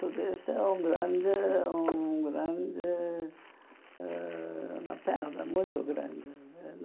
Tudo isso é um grande um grande... ãh uma perda muito grande.